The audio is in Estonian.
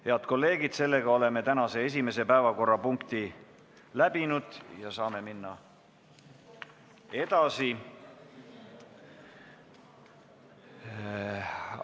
Head kolleegid, sellega oleme tänase esimese päevakorrapunkti läbinud ja saame edasi minna.